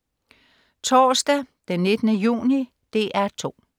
Torsdag den 19. juni - DR 2: